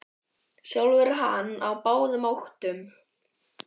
Sjálfur er hann á báðum áttum.